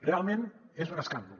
realment és un escàndol